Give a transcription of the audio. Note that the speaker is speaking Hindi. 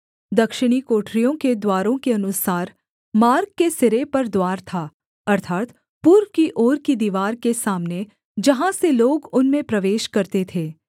दक्षिणी कोठरियों के द्वारों के अनुसार मार्ग के सिरे पर द्वार था अर्थात् पूर्व की ओर की दीवार के सामने जहाँ से लोग उनमें प्रवेश करते थे